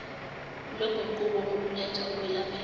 loguquko oluletha ukwelapheka